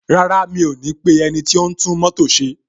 Rárá, mi ò ní pe ẹniti o n tún mótò ṣe.